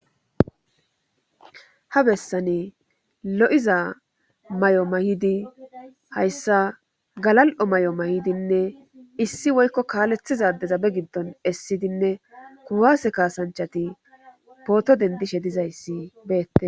ha bessane lo7iza may7o may7idi hayssa galal7o may7o may7idinne issi woykko kaalethizadezabe giddon essidinne kuwaase kaasanchati pooto dendishe dizayssi beette